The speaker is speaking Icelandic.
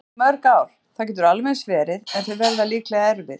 Kannski í mörg ár, það getur alveg eins verið- en þau verða líklega erfið.